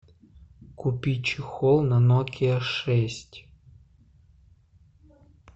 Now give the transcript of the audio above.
купи чехол на нокиа шесть